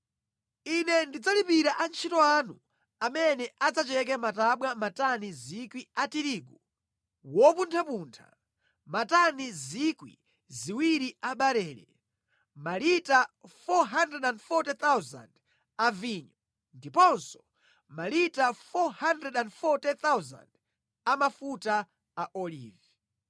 Ine ndidzalipira antchito anu amene adzacheke matabwa matani 1,000 a tirigu wopunthapuntha, matani 2,000 a barele, malita 440,000 a vinyo, ndiponso malita 440,000 a mafuta a olivi.”